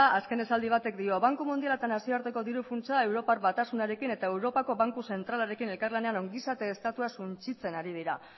azken esaldi batek dio banku mundiala eta nazioarteko diru funtsa europar batasunarekin eta europako banku zentralarekin elkarlanean ongizate estatua suntsitzen ari dira